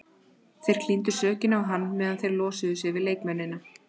Þeir klíndu sökinni á hann meðan þeir losuðu sig við leikmennina.